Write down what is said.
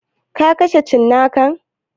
Ka kashe cinnakan?